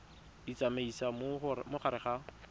di tsamaisa mo gare ga